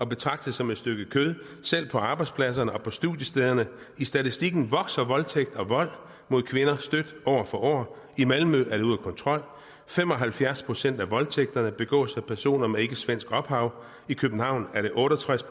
betragtet som et stykke kød selv på arbejdspladserne og på studiestederne i statistikken vokser omfanget af voldtægter og vold mod kvinder stødt år for år i malmø er det ude af kontrol fem og halvfjerds procent af voldtægterne begås af personer med ikkesvensk ophav i københavn er det otte og tres